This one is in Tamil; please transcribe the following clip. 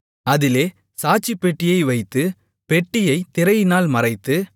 அதிலே சாட்சிப்பெட்டியை வைத்து பெட்டியைத் திரையினால் மறைத்து